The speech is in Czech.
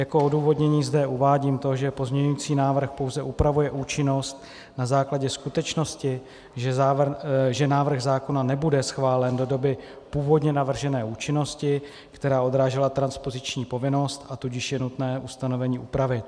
Jako odůvodnění zde uvádím to, že pozměňující návrh pouze upravuje účinnost na základě skutečnosti, že návrh zákona nebude schválen do doby původně navržené účinnosti, která odrážela transpoziční povinnost, a tudíž je nutné ustanovení upravit.